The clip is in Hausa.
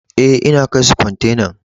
Eh, n'na kai su kwantenan.